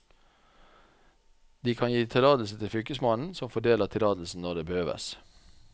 De kan gi tillatelse til fylkesmannen, som fordeler tillatelsen når det behøves.